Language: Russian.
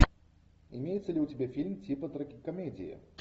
имеется ли у тебя фильм типа трагикомедии